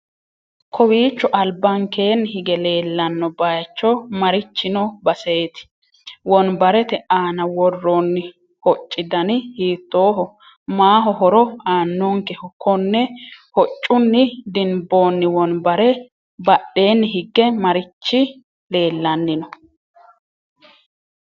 kowiicho albankeenni hige leellanno bayicho marichi no baseeti? wonbarete aana worroonni hocci dani hiittoho maaho horo aannonkeho? konne hocunni dinboonni wonbare badheenni hige marichi leellanni no?